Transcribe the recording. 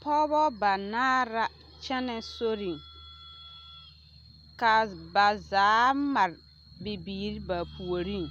Pɔgebɔ banaare la kyɛnɛ soriŋ ka ba zaa mare bibiiri ba puoriŋ